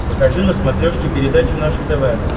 покажи на смотрешке передачу наше тв